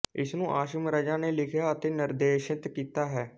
ਇਸਨੂੰ ਆਸਿਮ ਰਜ਼ਾ ਨੇ ਲਿਖਿਆ ਅਤੇ ਨਿਰਦੇਸ਼ਿਤ ਕੀਤਾ ਹੈ